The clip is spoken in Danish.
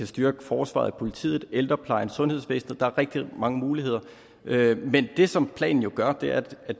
styrke forsvaret politiet ældreplejen sundhedsvæsenet der er rigtig mange muligheder men det som planen jo gør er at